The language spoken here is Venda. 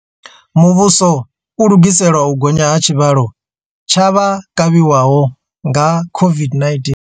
Muvhuso u lugisela u gonya ha tshivhalo tsha vha kavhiwaho nga COVID-19.